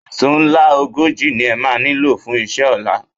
Èṣó ńlá ogójì ni ẹ máa nílò fún iṣẹ́ ọ̀la